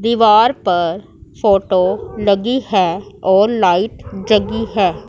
दीवार पर फोटो लगी हैं और लाइट जगी हैं।